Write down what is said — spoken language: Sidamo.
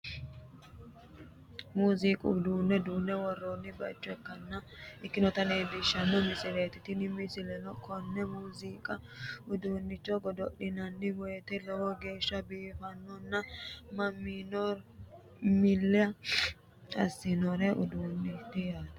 Muuziiqu uduunne duunne woroonni baaycho ikkinota leellishshanno misileeti tini misileno konne muuziiqu uduunnicho godo'linanni woyte lowo geeshsha biiffannona mannimano milli assanno uduunneeti yaate.